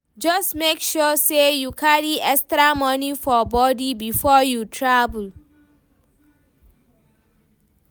just make sure say you carry extra money for body before you travel